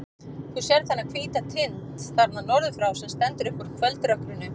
Þú sérð þennan hvíta tind þarna norður frá, sem stendur upp úr kvöldrökkrinu.